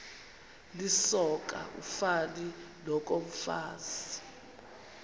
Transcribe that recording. lisoka ufani nokomfazi